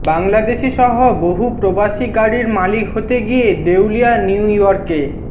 বাংলাদেশিসহ বহু প্রবাসী গাড়ির মালিক হতে গিয়ে দেউলিয়া নিউ ইয়র্কে